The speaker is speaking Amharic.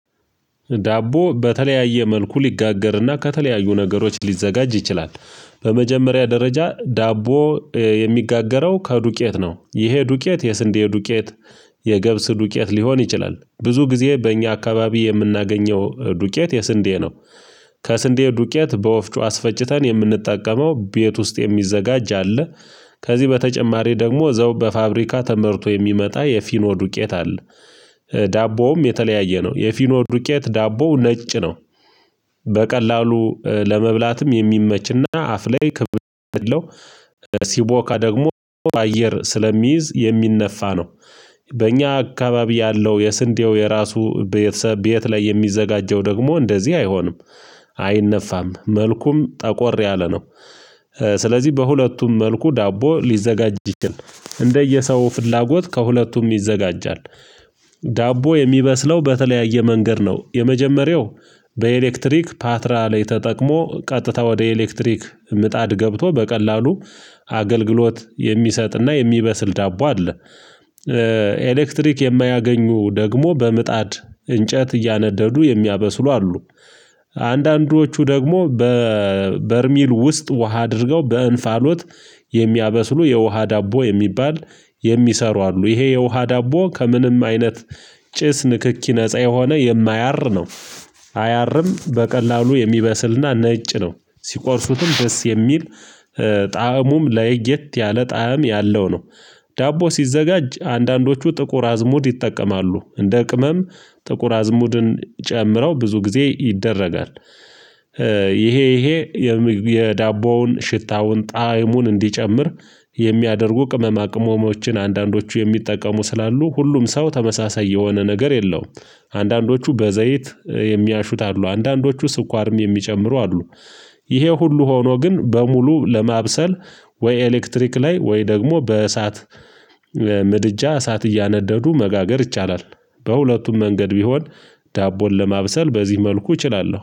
ዳቦ በተለያየ መልኩ ሊጋገርና ከተለያዩ ነገሮች ሊዘጋጅ ይችላል በመጀመሪያ ደረጃ ዳቦ የሚጋገረው ከዱቄት ነው ይሄ ዱቄት የስንዴ ዱቄት የገብስ ዱቄት ሊሆን ይችላል ብዙ ጊዜ በእኛ አካባቢ የምናገኘው ዱቄት የስንዴ ነው ከስንዴ ዱቄት በወፍጮ አስፈጭተን የምንጠቀመው ቤት ውስጥ የሚዘጋጅ አለ ከዚህ በተጨማሪ ደግሞ እዛው በፋብሪካ ተመርቶ የሚመጣ የፊኖ ዱቄት አለ ዳቦውም የተለያየ ነው የፊኖ ዱቄት ዳቦው ነጭ ነው በቀላሉ ለመብላትም የሚመችና አፍ ላይ ሲቦካ ደግሞ በአየር ስለሚይዝ የሚነፋ ነው በእኛ አካባቢ ያለው የስንዴው የራሱ ቤተሰብ ቤት ላይ የሚዘጋጀው ደግሞ እንደዚህ አይሆንም አይነፋም መልኩም ጠቆር ያለ ነው። ስለዚህ በሁለቱም መልኩ ዳቦ ሊዘጋጅ ይችላል። እንደየሰው ፍላጎት ከሁለቱም ይዘጋጃል። ዳቦ የሚበስለው በተለያየ መንገድ ነው። የመጀመሪያው በኤሌክትሪክ ፓትራ ላይ ተጠቅሞ ቀጥታ ወደ ኤሌክትሪክ ምጣድ ገብቶ በቀላሉ አገልግሎት የሚሰጥና የሚበስል ዳቦ አለ ኤሌክትሪክ የማያገኙ ደግሞ በምጣድ እንጨት እያነደዱ የሚያበስሉ አሉ። አንዳንዶቹ ደግሞ በበርሚል ውስጥ ውሃ አድርገው በእንፋሎት የሚያበስሉ የውሃ ዳቦ የሚባል የሚሰሩ አሉ ይሄ የውሃ ዳቦ ከምንም አይነት ጭስ ንክኪ ነፃ የሆነ የማያር ነው አያርም በቀላሉ የሚበስልና ነጭ ነው። ሲቆርሱትም ደስ የሚል ጣእሙም ለየት ያለ ጣዕም ያለው ነው። ዳቦ ሲዘጋጅ አንዳንዶቹ ጥቁር አዝሙድ ይጠቀማሉ። እንደ ቅመም ጥቁር አዝሙድን ጨምረው ብዙ ጊዜ ይደረጋል። ይሄ ይሄ የዳቦውን ሽታውን ጣዕሙን እንዲጨምር የሚያደርጉ ቅመማ ቅመሞችን አንዳንዶቹ የሚጠቀሙ ስላሉ ሁሉም ሰው ተመሳሳይ የሆነ ነገር የለውም አንዳንዶቹ በዘይት የሚያሹት አሉ አንዳንዶቹ ስኳርም የሚጨምሩ አሉ። ይሄ ሁሉ ሆኖ ግን በሙሉ ለማብሰል ወይ ኤሌክትሪክ ላይ ወይ ደግሞ በእሳት ምድጃ እሳት እያነደዱ መጋገር ይቻላል። በሁለቱም መንገድ ቢሆን ዳቦን ለማብሰል በዚህ መልኩ እችላለሁ።